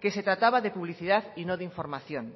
que se trataba de publicidad y no de información